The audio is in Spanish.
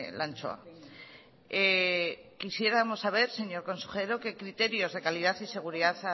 la anchoa quisiéramos saber señor consejero qué criterios de calidad y seguridad